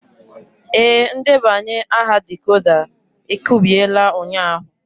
Ee, ndebanye aha decoder e kubiela ụnyahụ.